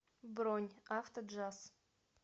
бронь автоджаз